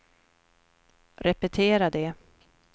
repetera det